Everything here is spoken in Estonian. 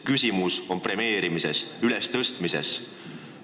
Küsimus on premeerimises, esiletõstmises.